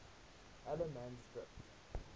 allemansdrift